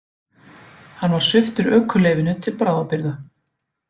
Hann var sviptur ökuleyfinu til bráðabirgða